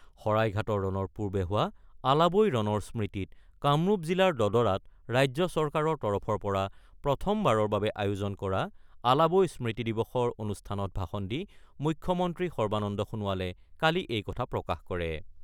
শৰাইঘাটৰ ৰণৰ পূৰ্বে হোৱা আলাবৈ ৰণৰ স্মৃতিত কামৰূপ জিলাৰ দদৰাত ৰাজ্য চৰকাৰৰ তৰফৰ পৰা প্ৰথমবাৰৰ বাবে আয়োজন কৰা আলাবৈ স্মৃতি দিৱসৰ অনুষ্ঠানত ভাষণ দি মুখ্যমন্ত্ৰী সৰ্বানন্দ সোণোৱালে কালি এই কথা প্ৰকাশ কৰে।